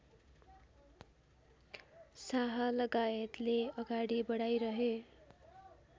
शाहलगायतले अगाडि बढाइरहे